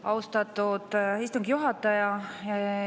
Austatud istungi juhataja!